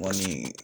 Ŋɔni